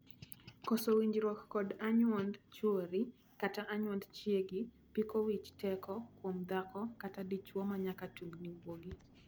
Koso winjruok kod anyuond chuori kata anyuond chiegi piko wich teko kuom dhako kata dichwo manyaka tungni wuogi.